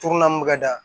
Togo naani mun bɛ ka da